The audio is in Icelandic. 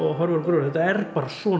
horfir á gröfina þetta er bara svona